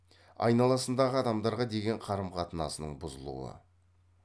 айналасындағы адамдарға деген қарым қатынасының бұзылуы